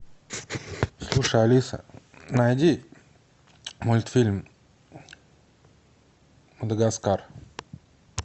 слушай алиса найди мультфильм мадагаскар